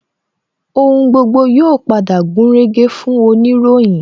Ohun gbogbo yóò padà gúnrégé fún oniroyin